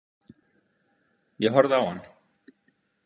Ég horfði á hann.